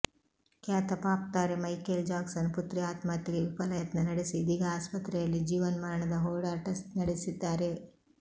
ಖ್ಯಾತ ಪಾಪ್ ತಾರೆ Michael Jackson ಪುತ್ರಿ ಆತ್ಮಹತ್ಯೆಗೆ ವಿಫಲ ಯತ್ನ ನಡೆಸಿ ಇದೀಗ ಆಸ್ಪತ್ರೆಯಲ್ಲಿ ಜೀವನ್ಮರಣದ ಹೋರಾಟ ನಡೆಸಿದ್ದಾರೆ